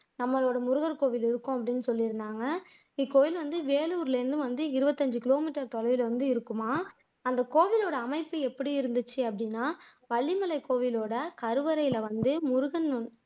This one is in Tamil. நம்மளோட முருகன் கோயில் இருக்கும் அப்படின்னு சொல்லியிருந்தாங்க இக்கோயில் வந்து வேலூர்ல இருந்து வந்து இருபத்து ஐந்து கிலோமீட்டர் இருக்குமாம் அந்த கோயிலோட அமைப்பு எப்படி இருந்துச்சு அப்படின்னா வள்ளிமலை கோயிலோட கருவறையில வந்து